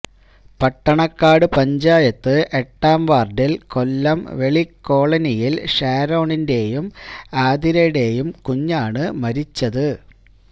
പട്ടണക്കാട് പഞ്ചായത്ത് എട്ടാം വാര്ഡില് കൊല്ലം വെളി കോളനിയില് ഷാരോണിന്റെയും ആതിരയുടേയും കുഞ്ഞാണ് മരിച്ചത്